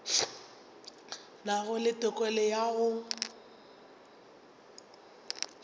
nago le tokelo ya go